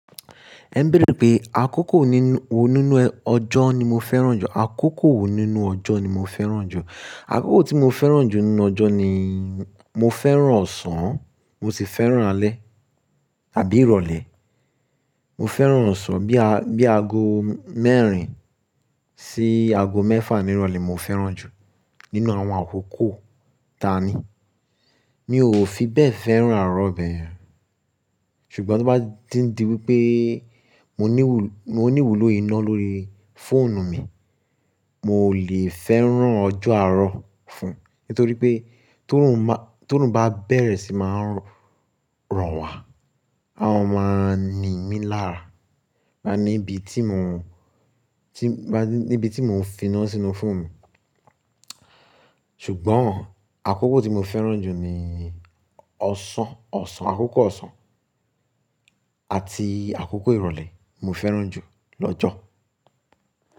Ẹ ń béèrè pé àkókò wo nínú ọjọ́ ni mo fẹ́ràn jù, àkókò wo nínú ọjọ́ ni mo fẹ́ràn jù. Àkókò tí mo fẹ́ràn jù nínú ọjọ́ ni mo fẹ́ràn ọ̀sán, mo sì fẹ́ràn alẹ́ àbí ìrọ̀lẹ́. Mo fẹ́ràn ọ̀sán bí i, bí i ago mẹ́rin sí ago mẹ́fà ìrọ̀lẹ́ mo fẹ́ràn jù nínú àwọn àkókò tani. Mi ò fi bẹ́ẹ̀ fẹ́ràn àárọ̀ bẹ̀e yen. Ṣùgbọ́n tó bá díń dí wípé mo níwù, mo ní wùlò iná lórí fóònù mi, mo ò lè fẹ́ràn ọjọ́ àárọ̀ fún un. Nítorí pé t'orun bá, t'orun bá bẹ̀rẹ̀ sì máa ń ran wá, a ó máa ni mí lára. Máa ní ibi tí mò ń, tí, bá ní ibi tí mò ń fi iná sínú fóònù mi. Ṣùgbọ́n àkókò tí mo fẹ́ràn jù ni ọ̀sán, ọ̀sán, àkókò ọ̀sán àti àkókò ìrọ̀lẹ́ mo fẹ́ràn jù lọ́jọ̀.